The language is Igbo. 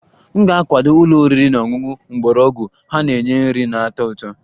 M ga-akwado ụlọ oriri na ọṅụṅụ mgbọrọgwụ, ha na-enye nri na-atọ ụtọ